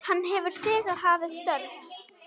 Hann hefur þegar hafið störf.